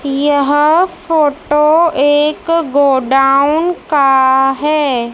यह फोटो एक गोडाउन का है।